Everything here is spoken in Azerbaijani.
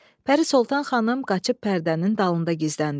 Pərisoltan xanım qaçıb pərdənin dalında gizləndi.